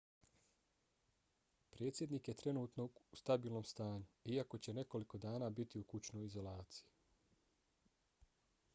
predsjednik je trenutno u stabilnom stanju iako će nekoliko dana biti u kućnoj izolaciji